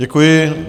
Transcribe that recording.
Děkuji.